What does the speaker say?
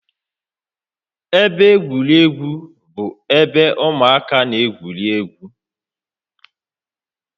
Ebe egwuregwu bụ ebe ụmụaka na-egwu egwuregwu